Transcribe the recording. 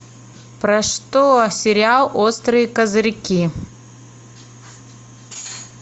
про что сериал острые козырьки